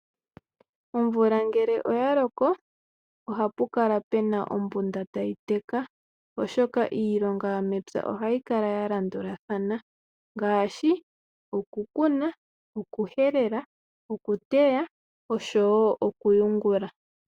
Omvula ngele oya loko ohapu kala puna ombunda tayi teka oshoka iilonga yomepya ohayi kala ya landulathana ngaashi okukuna, okuhelela, okuteya osho wo okuyungula.